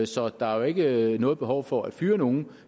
så der er jo ikke noget behov for at fyre nogen